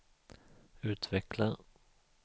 utveckla